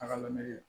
Taga lamini